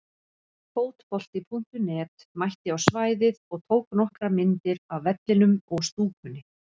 Fótbolti.net mætti á svæðið og tók nokkrar myndir af vellinum og stúkunni.